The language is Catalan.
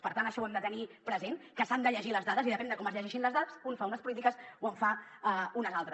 per tant això ho hem de tenir present que s’han de llegir les dades i depèn de com es llegeixin les dades un fa unes polítiques o en fa unes altres